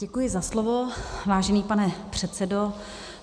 Děkuji za slovo, vážený pane předsedo.